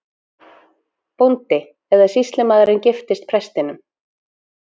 BÓNDI: Eða sýslumaðurinn giftist prestinum!